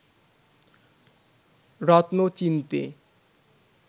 রত্ন চিনতে